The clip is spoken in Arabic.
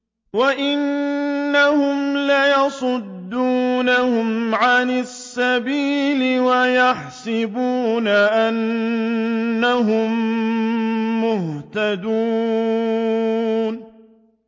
وَإِنَّهُمْ لَيَصُدُّونَهُمْ عَنِ السَّبِيلِ وَيَحْسَبُونَ أَنَّهُم مُّهْتَدُونَ